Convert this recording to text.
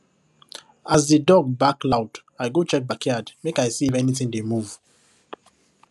as the dog bark loud i go check backyard make i see if anything dey move